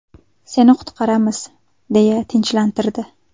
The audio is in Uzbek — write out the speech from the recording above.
Seni qutqaramiz” deya tinchlantirdi.